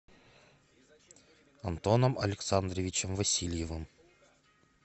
антоном александровичем васильевым